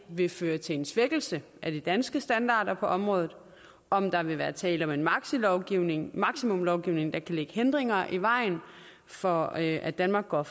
vil føre til en svækkelse af de danske standarder på området om der vil være tale om en maksimumlovgivning maksimumlovgivning der kan lægge hindringer i vejen for at at danmark går